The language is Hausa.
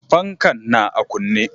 Fankan na a kunne.